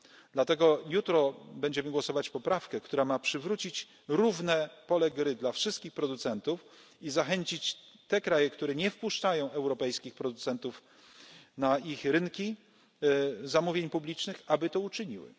Dlatego jutro będziemy głosować nad poprawką, która ma przywrócić równe pole gry dla wszystkich producentów i zachęcić te kraje, które nie wpuszczają europejskich producentów na swoje rynki zamówień publicznych, aby to uczyniły.